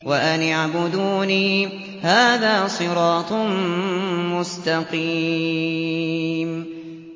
وَأَنِ اعْبُدُونِي ۚ هَٰذَا صِرَاطٌ مُّسْتَقِيمٌ